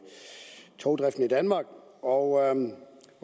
togdriften i danmark og